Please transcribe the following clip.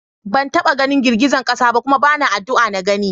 Ban taɓa ganin girgizan ƙasa ba kuma bana addu'an na gani.